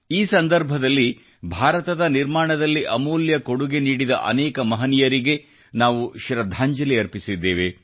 ಈ ಸಂದರ್ಭದಲ್ಲಿ ಭಾರತದ ನಿರ್ಮಾಣದಲ್ಲಿ ಅಮೂಲ್ಯ ಕೊಡುಗೆ ನೀಡಿದ ಅನೇಕ ಮಹನೀಯರಿಗೆ ನಾವು ಶೃದ್ಧಾಂಜಲಿ ಅರ್ಪಿಸಿದ್ದೇವೆ